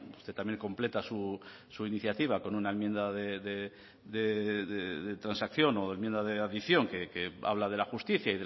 usted también completa su iniciativa con una enmienda de transacción o de enmienda de adición que habla de la justicia